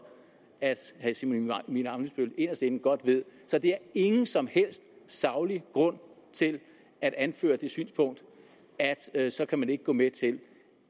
at herre simon emil ammitzbøll inderst inde ved så der er ingen som helst saglig grund til at anføre det synspunkt at så kan man ikke gå med til